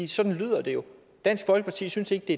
sådan lyder det jo dansk folkeparti synes ikke det